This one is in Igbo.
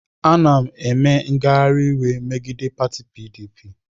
Ana m eme ngagharị iwe megide pati PDP.